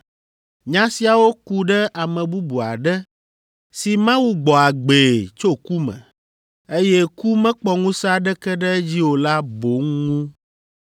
Nya siawo ku ɖe ame bubu aɖe si Mawu gbɔ agbee tso ku me, eye ku mekpɔ ŋusẽ aɖeke ɖe edzi o la boŋ ŋu.”